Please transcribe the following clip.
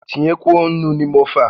Tinyekwuo ńnú n'ime ófé a!